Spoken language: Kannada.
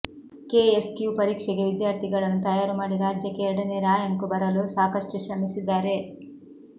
ಕೆಎಸ್ಕ್ಯೂ ಪರೀಕ್ಷೆಗೆ ವಿದ್ಯಾರ್ಥಿಗಳನ್ನು ತಯಾರು ಮಾಡಿ ರಾಜ್ಯಕ್ಕೆ ಎರಡನೇ ರಾ್ಯಂಕ್ ಬರಲು ಸಾಕಷ್ಟು ಶ್ರಮಿಸಿದ್ದಾರೆ